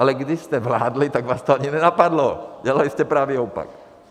Ale když jste vládli, tak vás to ani nenapadlo, dělali jste pravý opak.